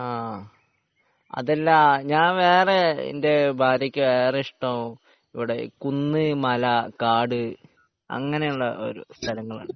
ആഹ് അതല്ല ഞാൻ വേറെ എന്റെ ഭാര്യക്ക് ഇഷ്ടം ഇവിടെ കുന്ന് മല കാട് അങ്ങനെയുള്ള സ്ഥലങ്ങളാണ്